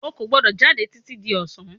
O ò gbọ́dọ̀ jáde títí di ọ̀sán